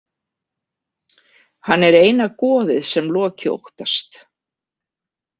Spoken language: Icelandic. Hann er eina goðið sem Loki óttast.